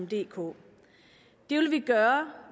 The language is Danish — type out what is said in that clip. dk det vil vi gøre